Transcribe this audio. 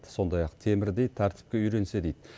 сондай ақ темірдей тәртіпке үйренсе дейді